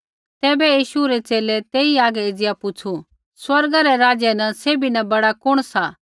तैबै यीशु रै च़ेले तेई हागै एज़िया पुछ़ू स्वर्ग रै राज्य न सैभी न बड़ा कुण सा